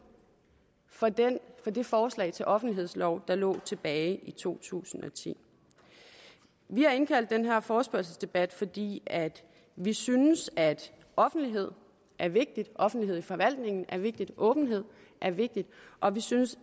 for det forslag til offentlighedslov der lå tilbage i to tusind og ti vi har indkaldt til den her forespørgselsdebat fordi vi synes at offentlighed er vigtigt at offentlighed i forvaltningen er vigtigt at åbenhed er vigtigt og vi synes